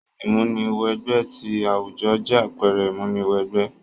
Ìmúni wẹ gbẹ ti àwùjo jẹ àpẹrẹ ìmúni wẹ gbẹ